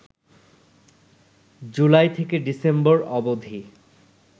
জুলাই থেকে ডিসেম্বর অবধি